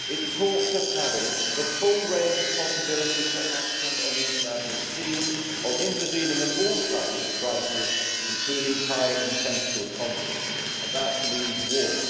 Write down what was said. It talks of having the full range of possibilities for action on the international scene', of intervening in all types of crisis, including high intensity conflicts' and that means war.